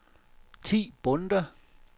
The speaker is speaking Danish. Thi Bonde